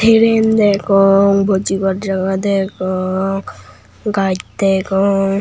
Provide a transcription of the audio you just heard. tren degong bujibar jaga degong gaaj degong.